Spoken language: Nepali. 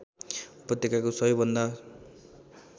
उपत्यकाको सबै भन्दा